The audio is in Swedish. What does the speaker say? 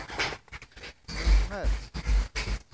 nummer